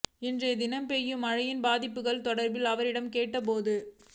இன்றைய தினம் பெய்யும் மழையின் பாதிப்புகள் தொடர்பில் அவரிடம் கேட்ட போதே